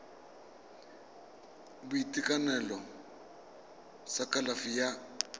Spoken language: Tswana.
sa boitekanelo sa kalafi ya